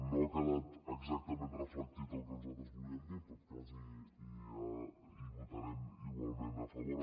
no hi ha quedat exactament reflectit el que nosaltres hi volíem dir però en tot cas hi votarem igualment a favor